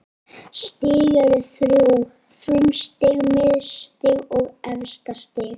Stig eru þrjú: frumstig, miðstig og efstastig.